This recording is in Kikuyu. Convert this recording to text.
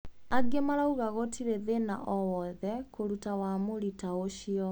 Angi marauga ati gutiri thina oo wothe kuruta wamũri taa ucio.